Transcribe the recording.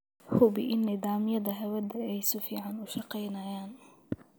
Hubi in nidaamyada hawadu ay si fiican u shaqaynayaan.